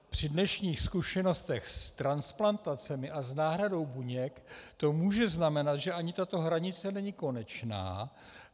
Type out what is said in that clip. Při dnešních zkušenostech s transplantacemi a s náhradou buněk to může znamenat, že ani tato hranice není konečná.